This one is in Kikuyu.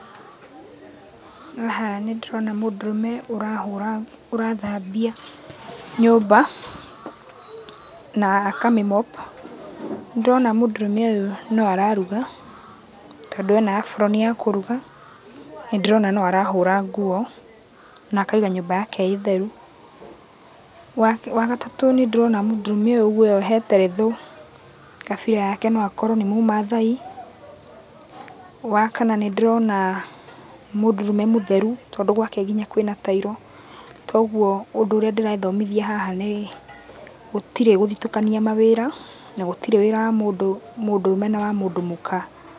Haha nĩndĩrona mũndũrũme ũrahũra ũrathambia nyũmba, na akamĩ mop. Nĩndĩrona mũndũrũme ũyũ no araruga, tondũ ena aburoni ya kũruga. Nĩndĩrona no arahũra nguo, na akaiga nyũmba yake ĩtheru. Wakerĩ wagatatũ nĩndĩrona mũndũrũme ũyũ ũguo eyohete retho, kabira yake no akorwo nĩ Mũmaathai. Wakana nĩndĩrona mũndũrũme mũtheru, tondũ gwake nginya kwĩna tairo, toguo, ũndũ ũrĩa ndĩrethomithia haha nĩ, gũtirĩ gũthitũkania mawĩra na gũtirĩ wĩra wa mũndũrũme na wa mũndũ mũka.